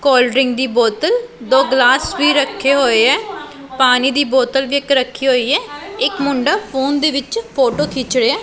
Cold drink ਦੀ ਬੋਤਲ ਦੋ ਗਿਲਾਸ ਵੀ ਰੱਖੇ ਹੋਏ ਐ ਪਾਣੀ ਦੀ ਬੋਤਲ ਵੀ ਇੱਕ ਰੱਖੀ ਹੋਈ ਐ ਇੱਕ ਮੁੰਡਾ ਫੋਨ ਦੇ ਵਿੱਚ ਫੋਟੋ ਖਿੱਚ ਰਿਹੈ।